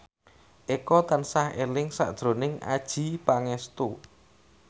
Eko tansah eling sakjroning Adjie Pangestu